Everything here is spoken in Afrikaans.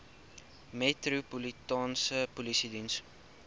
metropolitaanse polisie diens